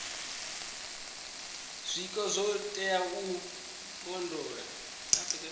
zwiko zwo teaho u londola